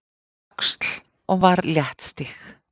Öxl og var léttstíg.